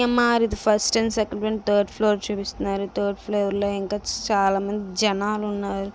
CMR ఇది. First and second third floor చూపిస్తున్నారు. Third floor లో ఇంకా చాలా మంది జెనాలున్నారు.